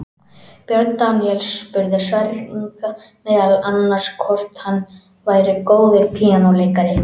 Björn Daníel spurði Sverri Inga meðal annars hvort hann væri góður píanóleikari.